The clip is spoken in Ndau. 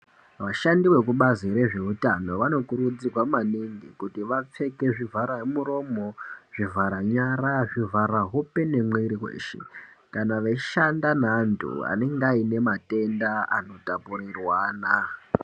Vashandi veku bazi rezve utano vano kurudzirwa maningi kuti vapfeke zvivhara muromo zvivhara nyara zvivhara hope ne mwiri weshe kana veyi shanda ne antu anenge aine matenda ano tapurirwana.